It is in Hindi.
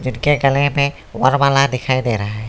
इसके गले में वर्णमाला दिखाई दे रहा है।